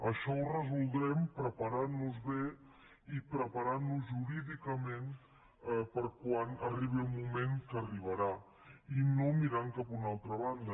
això ho resoldrem preparant nos bé i preparant nos jurídicament per a quan arribi el moment que arribarà i no mirant cap a una altra banda